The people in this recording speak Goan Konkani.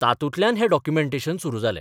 तातूंतल्यान हें डॉक्युमँटेनशन सुरू जालें.